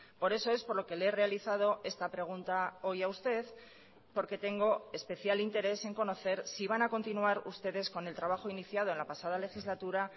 por eso es por lo que le he realizado esta pregunta hoy a usted porque tengo especial interés en conocer si van a continuar ustedes con el trabajo iniciado en la pasada legislatura